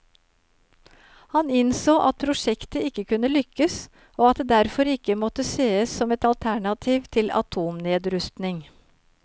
Han innså at prosjektet ikke kunne lykkes, og at det derfor ikke måtte sees som et alternativ til atomnedrustning.